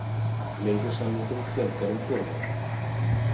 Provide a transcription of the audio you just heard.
Leigusamningum fjölgar um fjórðung